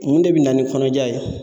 Mun de bɛ na ni kɔnɔja ye?